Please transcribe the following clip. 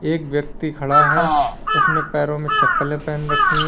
एक व्यक्ति खड़ा है उसने पैरों में चप्पलें पहन रखी है।